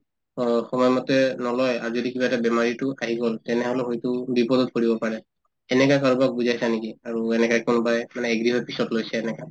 অ সময় মতে নলয় আৰু যদি কিবা এটা বেমাৰ এইটো আহি গল তেনেহলে হয়তো বিপদত পৰিব পাৰে এনেকা কাৰোবাক বুজাইছা নেকি আৰু এনেকা কোনোবাই মানে agree হৈ পিছত লৈছে এনেকা